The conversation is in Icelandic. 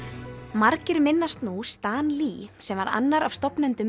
margir minnast nú Stan Lee sem var annar af stofnendum